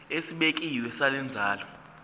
esibekiwe sale nkonzo